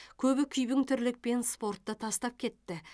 көбі күйбең тірлікпен спортты тастап кетті